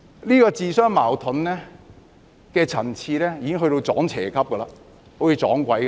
這種自相矛盾的層次已經達到"撞邪"級，好像"撞鬼"一樣。